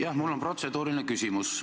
Jah, mul on protseduuriline küsimus.